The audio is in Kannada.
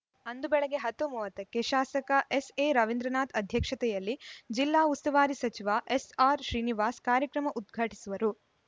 ಅಂದು ಬೆಳಿಗ್ಗೆ ಹತ್ತು ಮೂವತ್ತ ಕ್ಕೆ ಶಾಸಕ ಎಸ್‌ಎರವೀಂದ್ರನಾಥ್‌ ಅಧ್ಯಕ್ಷತೆಯಲ್ಲಿ ಜಿಲ್ಲಾ ಉಸ್ತುವಾರಿ ಸಚಿವ ಎಸ್‌ಆರ್‌ಶ್ರೀನಿವಾಸ ಕಾರ್ಯಕ್ರಮ ಉದ್ಘಾಟಿಸುವರು